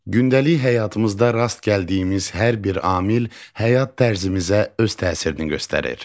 Gündəlik həyatımızda rast gəldiyimiz hər bir amil həyat tərzimizə öz təsirini göstərir.